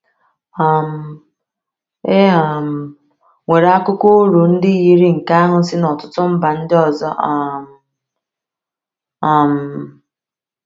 um E um nwere akụkọ oru ndị yiri nke ahụ si n’ọtụtụ mba ndị ọzọ um um.